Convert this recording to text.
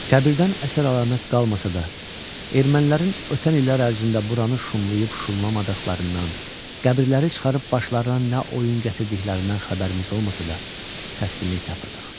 Qəbirdən əsər-əlamət qalmasa da, ermənilərin ötən illər ərzində buranı şumlayıb şumlamadıqlarından, qəbirləri çıxarıb başlarına nə oyun gətirdiklərindən xəbərimiz olmasa da, təskinlik tapırdıq.